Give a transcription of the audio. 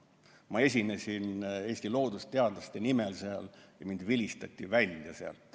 Ma esinesin Eesti loodusteadlaste nimel seal ja mind vilistati välja.